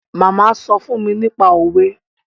Màmá sọ fún mi nípa òwe